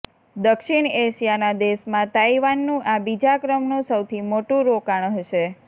દક્ષિણ એશિયાના દેશમાં તાઇવાનનું આ બીજા ક્રમનું સૌથી મોટું રોકાણ હશે